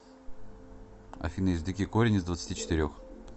афина извлеки корень из двадцати четырех